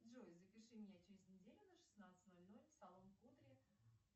джой запиши меня через неделю на шестнадцать ноль ноль в салон кудри